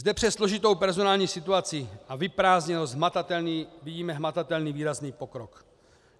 Zde přes složitou personální situaci a vyprázdněnost vidíme hmatatelný, výrazný pokrok.